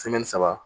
saba